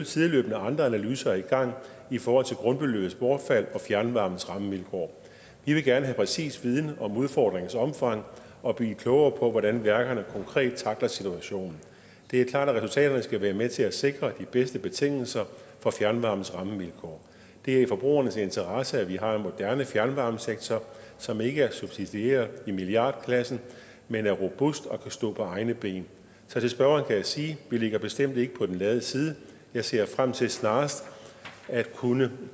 sideløbende andre analyser i gang i forhold til grundbeløbets bortfald og fjernvarmens rammevilkår vi vil gerne have præcis viden om udfordringernes omfang og blive klogere på hvordan værkerne konkret tackler situationen det er klart at resultaterne skal være med til at sikre de bedste betingelser for fjernvarmens rammevilkår det er i forbrugernes interesse at vi har en moderne fjernvarmesektor som ikke er subsidieret i milliardklassen men er robust og kan stå på egne ben så til spørgeren kan jeg sige vi ligger bestemt ikke på den lade side jeg ser frem til snarest at kunne